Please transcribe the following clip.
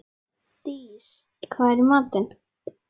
Dís, hvað er í matinn?